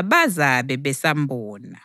abazabe besambona.